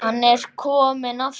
Hann er kominn aftur!